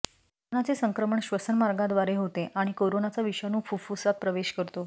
कोरोनाचे संक्रमण श्वसनमार्गाद्वारे होते आणि कोरोनाचा विषाणू फुफ्फुसात प्रवेश करतो